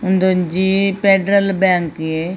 ಒಂದು ಒಂಜಿ ಪೆಡರಲ್ ಬ್ಯಾಂಕ್ ಯೆ.